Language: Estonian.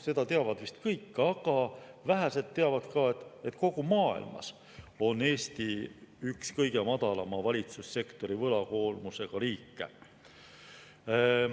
Seda teavad vist kõik, aga vähesed teavad ka, et kogu maailmas on Eesti üks kõige madalama valitsussektori võlakoormusega riike.